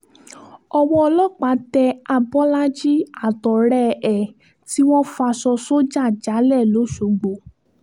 owó ọlọ́pàá tẹ abọ́lájì àtọ̀rẹ́ ẹ̀ tí wọ́n faṣọ sójà jálẹ̀ lọ́sọ̀gbò